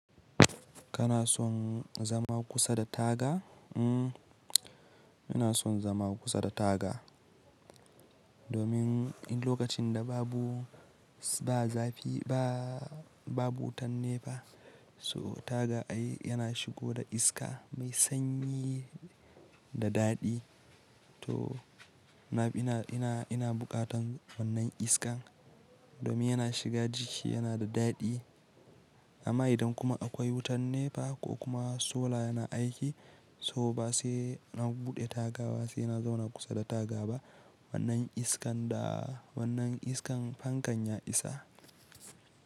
Kana son zama kusa da taga? Mm, ina son zama kusa da taga, domin in lokacin da babu, ba zafi ba, babu wutan nefa, so taga ai yana shigo da iska mai sanyi da daɗi. To ina, ina, ina bukatan wannan iskan domin yana shiga jiki yana da daɗi. Amma idan kuma akwai wutan nefa ko kuma sola yana aiki so ba sai na buɗe taga ba sai na zauna kusa da taga ba. Wannan iskan da wannan iskan fankan ya isa.